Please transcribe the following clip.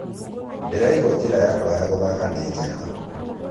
"Ndĩraigua njĩra yakwa ya gũthaka nĩ njega